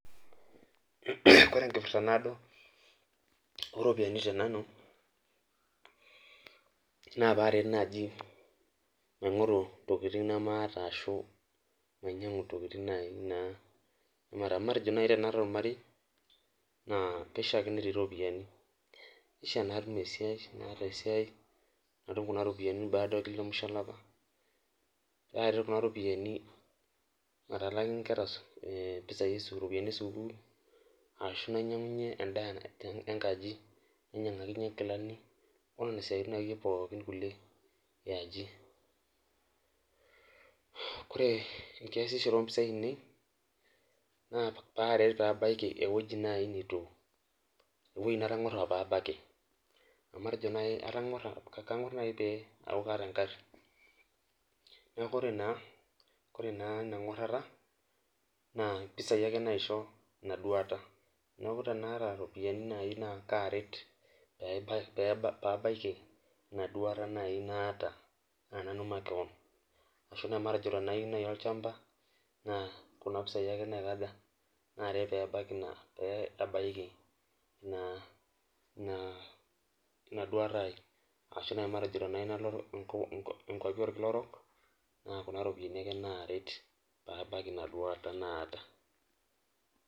Kore enkipirrta naado oropiani te nanu naa paaret naaji maing'oru intokiting nemaata ashu mainyiang'u intokiting naaji naa matejo naaji tenaata ormarei naa kaishia ake netii iropiyiani ishia natum esiai naata esiai natum kuna ropiyiani baada ekia musho olapa aret kuna ropiyiani matalaaki inkera e impisai ropiani esukul ashu nainying'unyie endaa enkaji nainyiang'akinyie inkilani onena siaitin akeyie pookin kulie yiaji kore enkiasishore ompisai ainei naa paaeret pabaiki ewoji naaji nitu ewueji natang'uarra pabaki amu matejo naaji kang'uarr, kang'uarr naaji tee aaku kaata engarii neku kore naa kore naa ina ng'uarrata naa impisai ake naisho ina duata neku tanaata iropiani naaji naa kaaret pebai pabaiki ina duata naaji naata aa nanu makewon ashu naa matejo tenayieu naaji olchamba naa kuna pisai ake naikaja naaret pee abaki, pee abaiki naa ina duata ai ashu naaji matejo tenayieu nalo inko inkuapi orkila orok naa una roopiyiani ake naaret pabaki ina duata naata.